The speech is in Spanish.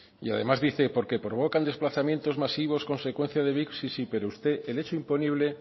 y además dice porque provocan desplazamientos masivos consecuencia de sí pero usted el hecho imponible